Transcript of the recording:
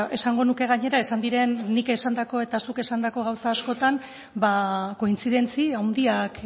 esango nuke gainera esan diren nik esandako eta zuk esandako gauza askotan ba konfidentzi